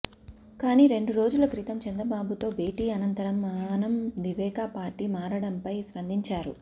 కానీ రెండు రోజుల క్రితం చంద్రబాబుతో భేటీ అనంతరం ఆనం వివేకా పార్టీ మారడంపై స్పందించారు